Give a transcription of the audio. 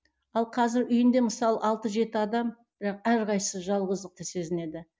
ал қазір үйінде мысалы алты жеті адам бірақ әрқайсысы жалғыздықты сезінеді